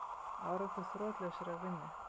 Árangur þrotlausrar vinnu